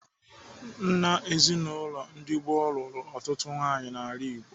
Nna ezinaụlọ ndị gboo lụrụ ọtụtụ nwaanyị n'ala Igbo.